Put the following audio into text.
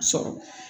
Sɔrɔ